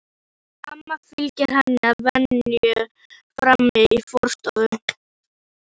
Amma fylgir henni að venju fram í forstofu.